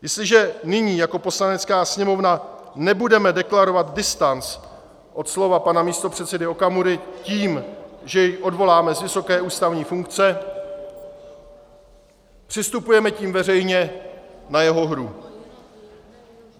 Jestliže nyní jako Poslanecká sněmovna nebudeme deklarovat distanc od slov pana místopředsedy Okamury tím, že jej odvoláme z vysoké ústavní funkce, přistupujeme tím veřejně na jeho hru.